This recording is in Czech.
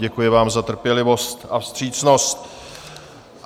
Děkuji vám za trpělivost a vstřícnost.